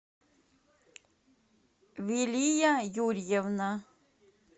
вилия юрьевна